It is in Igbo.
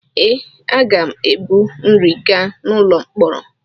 Ee, aga m ebu nri gaa n’ụlọ mkpọrọ.